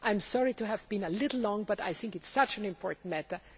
I am sorry to have been a little long, but I think this is such an important matter.